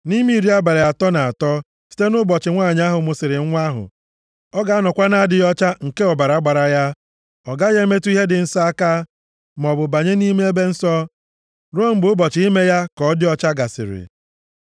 Nʼime iri abalị atọ na atọ site nʼụbọchị nwanyị ahụ mụsịrị nwa ahụ, ọ ga-anọkwa na-adịghị ọcha nke ọbara gbara ya. Ọ gaghị emetụ ihe dị nsọ aka, maọbụ banye nʼime ebe nsọ, ruo mgbe ụbọchị ime ya ka ọ dị ọcha gasịrị.